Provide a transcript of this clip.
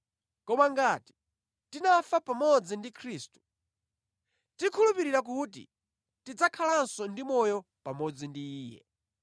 Koma ngati tinafa pamodzi ndi Khristu, tikhulupirira kuti tidzakhalanso ndi moyo pamodzi ndi Iye.